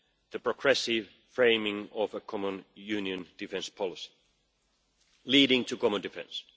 the progressive framing of a common union defence policy, leading to common defence.